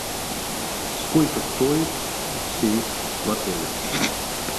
сколько стоит сейф в отеле